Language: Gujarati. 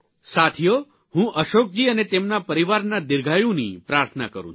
સાથીઓ હું અશોકજી અને તેમના પરિવારના દીર્ઘાયુની પ્રાર્થના કરૂં છું